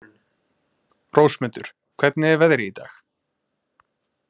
Rósmundur, hvernig er veðrið í dag?